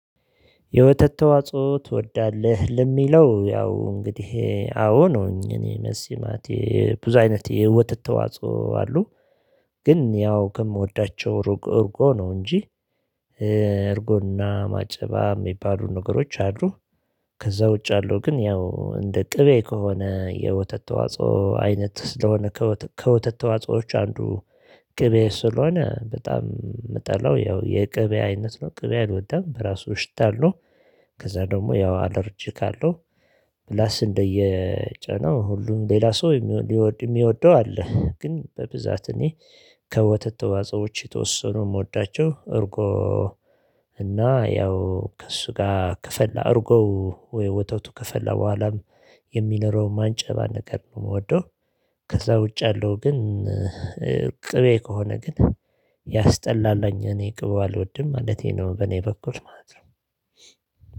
የወተት ተዋጽኦ ትወዳለህ? ለሚለው ያው እንግዲህ አዎ ነው ነኝ እኔ መልሴ ማለቴ የብዙ አይነት የወተት ተዋጽኦ አሉ። ግን ያው ከምወዳቸው ሩቅ እርጎ ነው እንጂ። እርጎ እና ማጨባ ሚባሉ ነገሮች አሉ። ከዛ ውጭ ያለው ግን ያው እንደ ቅቤ ከሆነ የወተት ተዋጽኦ አይነት ስለሆነ ከወተ ከወተት ተዋጽኦዎች አንዱ። ቅቤ ስለሆነ በጣም ምጠላው ያው የቅቤ አይነት ነው ቅቤ አልወድም በራሱ ሽታ አለው። ከዛ ደግሞ ያው አለርጂክ አለው። ፕላስ እንደየጫናው ሁሉም ሌላ ሰው የሚወ ሊወድ እሚወደው አለ ግን በብዛት እኔ ከወተት ተዋጽኦ ውጪ የተወስኑ እምወዳቸው እርጎ። እና ያው ከእሱ ጋር ከፈላ እርጎ። ወተቱ ከፈላ በኋላም የሚኖረው ማንጨባ ነገር ነው እምወደው። ከዛ ውጭ ያለው ግን ቅቤ ከሆነ ግን ያስጠላላኝ እኔ ቅቡ አልወድም ማለቴ ነው። በኔ በኩል ማለት ነው